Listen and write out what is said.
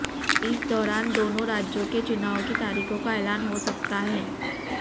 इस दौरान दोनों राज्यों के चुनाव की तारीखों का ऐलान हो सकता है